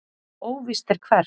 Óvíst er hvert.